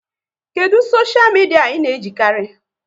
Kedụ soshia midia ị na-ejikarị?